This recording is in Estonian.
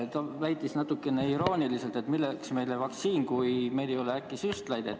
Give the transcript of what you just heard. Ta väitis natuke irooniliselt, et milleks meile vaktsiin, kui meil äkki ei ole süstlaid.